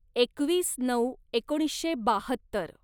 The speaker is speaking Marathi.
एकवीस नऊ एकोणीसशे बाहत्तर